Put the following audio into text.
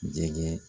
Jɛgɛ